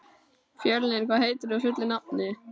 Fjölnir, hvað heitir þú fullu nafni?